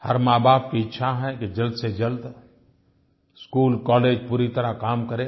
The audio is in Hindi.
हर माँबाप की इच्छा है कि जल्द से जल्द स्कूलकॉलेज पूरी तरह काम करें